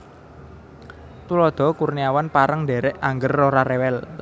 Tuladha Kurniawan pareng ndhèrèk angger ora rewel